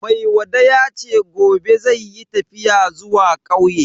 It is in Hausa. Maiwada yace gobe zai yi tafiya zuwa kauye.